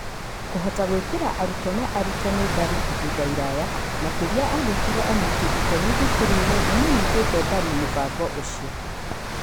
Kũhota gwĩkĩra arutwo na arutani mbaru ihinda iraya, makĩria angĩkorũo anyiti iteme thukuruinĩ nĩ manyitĩte mbaru mũbango ũcio.